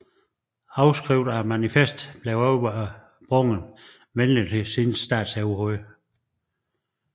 Afskrift af manifestet blev overbragt venligtsindede statsoverhoveder